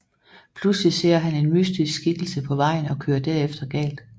Pludselig ser han en mystisk skikkelse på vejen og kører derefter galt